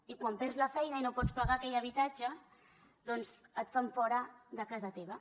i quan perds la feina i no pots pagar aquell habitatge doncs et fan fora de casa teva